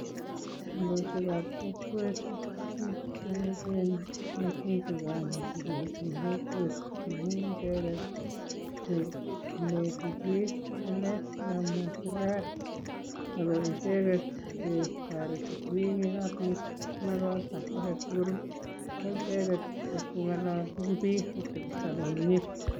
Kondoishekab kokwet ii ko biik che echen mising' che kigonyiti en kokwet. Amun icheget che ineti biik ng'alek che kamwa serkalit agoicheget che toreti biik ye kabiit makosa age tugul koicheget che ibko ng'ololchin biik ibkotepso komye.